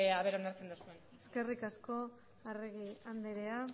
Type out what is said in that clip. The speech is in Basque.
ea onartzen duzuen eskerrik asko arregi andrea